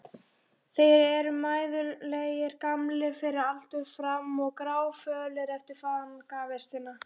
Þeir eru mæðulegir, gamlir fyrir aldur fram, gráfölir eftir fangavistina.